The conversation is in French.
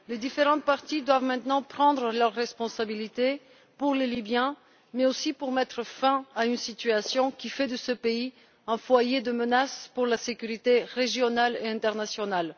Les différentes parties doivent maintenant prendre leurs responsabilités, pour les libyens mais aussi pour mettre fin à une situation qui fait de ce pays un foyer de menace pour la sécurité régionale et internationale.